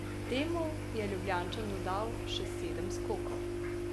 Temu je Ljubljančan dodal še sedem skokov.